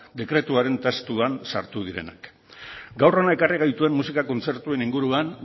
dekretuaren testuan sartu direnak gaur hona ekarri gaituen musika kontzertuen inguruan